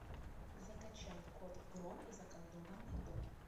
закачай кот гром и заколдованный дом